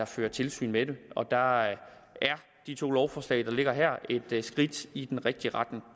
fører tilsyn med dem der er de to lovforslag der ligger her et skridt i den rigtige retning